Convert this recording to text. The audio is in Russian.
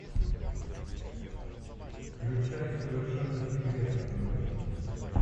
включай совершенно секретно на тв